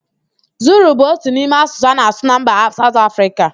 Zulu bụ otu n'ime asụsụ a na-asụ na mba Saụt Afrịka